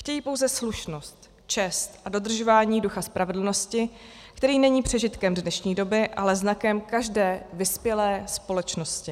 Chtějí pouze slušnost, čest a dodržování ducha spravedlnosti, který není přežitkem dnešní doby, ale znakem každé vyspělé společnosti.